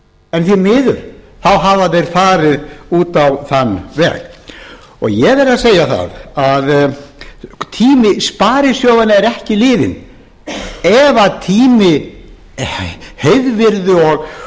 en því miður hafa þeir farið út á þann veg ég verð að segja það að tími sparisjóðanna er ekki liðinn ef tími heiðvirðs og